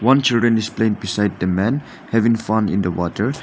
one children is playing beside the man having fun in the water.